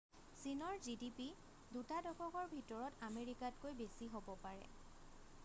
চীনৰ gdp দুটা দশকৰ ভিতৰত আমেৰিকাতকৈ বেছি হব পাৰে